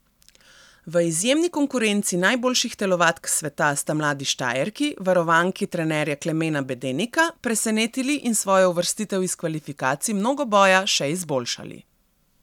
V izjemni konkurenci najboljših telovadk sveta sta mladi Štajerki, varovanki trenerja Klemena Bedenika, presenetili in svojo uvrstitev iz kvalifikacij mnogoboja še izboljšali.